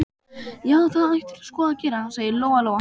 Já, það ættirðu sko að gera, sagði Lóa-Lóa.